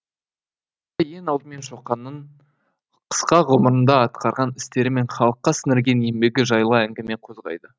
ең алдымен шоқанның қысқа ғұмырында атқарған істері мен халыққа сіңірген еңбегі жайлы әңгіме қозғайды